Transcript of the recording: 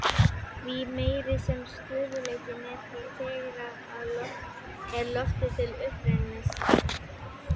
Því meiri sem stöðugleikinn er því tregara er loftið til uppstreymis.